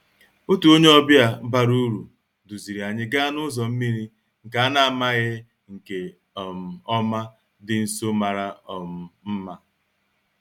Otu onye ọbịa bara uru duziri anyị gaa n'ụzọ mmiri nke a na-amaghị nke um ọma dị nso mara um mma